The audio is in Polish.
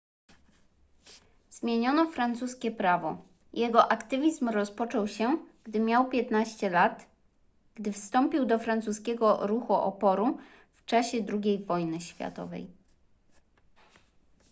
zmieniono francuskie prawo jego aktywizm rozpoczął się gdy miał 15 lat gdy wstąpił do francuskiego ruchu oporu w czasie ii wojny światowej